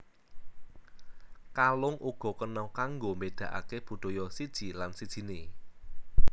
Kalung uga kena kanggo mbédakaké budaya siji lan sijiné